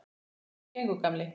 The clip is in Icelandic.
Hvernig gengur, gamli